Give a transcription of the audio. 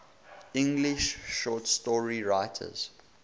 english short story writers